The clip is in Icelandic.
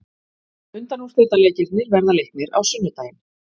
Undanúrslitaleikirnir verða leiknir á sunnudaginn.